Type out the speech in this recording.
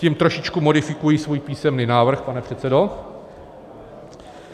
Tím trošičku modifikuji svůj písemný návrh, pane předsedo.